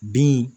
Bin